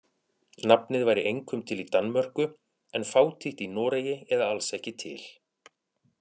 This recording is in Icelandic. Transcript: Nafnið væri einkum til í Danmörku en fátítt í Noregi eða alls ekki til.